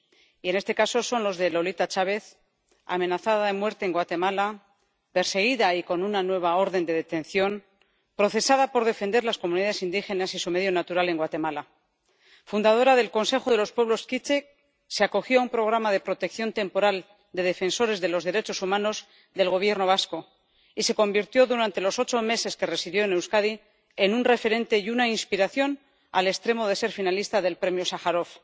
Y en este caso, son los de Lolita Chávez, amenazada de muerte en Guatemala, perseguida y con una nueva orden de detención, procesada por defender las comunidades indígenas y su medio natural en Guatemala. Fundadora del Consejo de Pueblos K'iche', se acogió a un programa de protección temporal de defensores de los derechos humanos del Gobierno vasco, y se convirtió, durante los ocho meses que residió en Euskadi, en un referente y una inspiración, al extremo de ser finalista del Premio Sájarov.